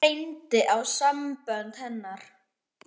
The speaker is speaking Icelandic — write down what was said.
Nú reyndi á sambönd hennar.